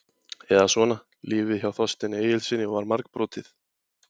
Eða svona: Lífið hjá Þorsteini Egilssyni var margbrotið.